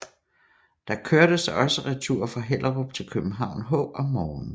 Der kørtes også retur fra Hellerup til København H om morgenen